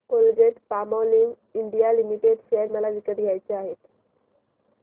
Colgate Palmolive India Limited share मला विकत घ्यायचे आहेत